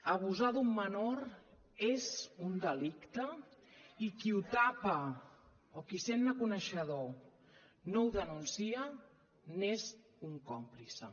abusar d’un menor és un delicte i qui ho tapa o qui sent ne coneixedor no ho denuncia n’és un còmplice